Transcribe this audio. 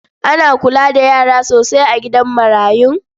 Ana kula da yara sosai a gidan marayun.